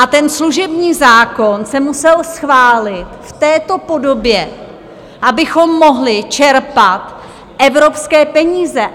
A ten služební zákon se musel schválit v této podobě, abychom mohli čerpat evropské peníze.